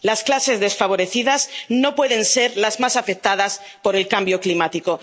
Las clases desfavorecidas no pueden ser las más afectadas por el cambio climático.